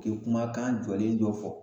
K'o kumakan jɔlen dɔ fɔ